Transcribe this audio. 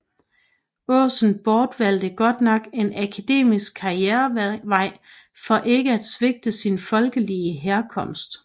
Aasen bortvalgte godt nok en akademisk karrierevej for ikke at svigte sin folkelige herkomst